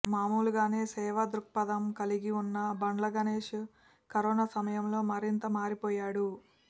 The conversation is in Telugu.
మామూలుగానే సేవా దృక్పదం కలిగి ఉన్న బండ్ల గణేశ్ కరోనా సమయంలో మరింత మారిపోయాడు